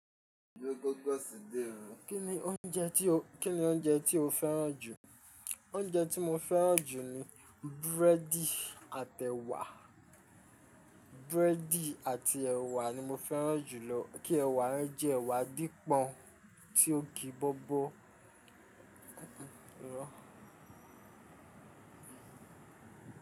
Kí ni oúnjẹ tí o, kí ni oúnjẹ tí o fẹ́ràn jù? Oúnjẹ tí mo fẹ́ràn jù ni búrẹ́dì àti ẹ̀wà. Búrẹ́dì àti ẹ̀wà ni mo fẹ́ràn jù lọ. Kí ẹ̀wà yẹn jẹ́ ẹ̀wà dípọ̀n ti ó ki bobo.